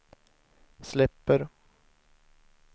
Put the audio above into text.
släpper